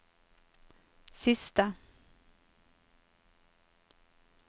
siste